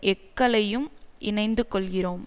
எக்களையும் இணைந்துக்கொள்கிறோம்